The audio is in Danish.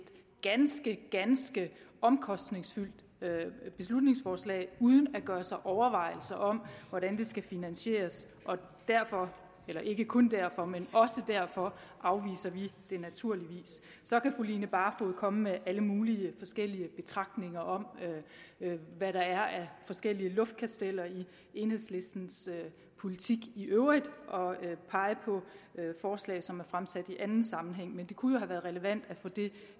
ganske ganske omkostningsfyldt beslutningsforslag uden at gøre sig overvejelser om hvordan det skal finansieres og derfor eller ikke kun derfor men også derfor afviser vi det naturligvis så kan fru line barfod komme med alle mulige betragtninger om hvad der er af forskellige luftkasteller i enhedslistens politik i øvrigt og pege på forslag som er fremsat i anden sammenhæng men det kunne jo have været relevant at få det